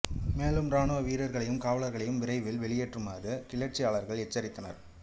மேலும் இராணுவ வீரர்களையும் காவலர்களைவும் விரைவில் வெளியேறுமாறு கிளர்ச்சியாளர்கள் எச்சரித்தனர்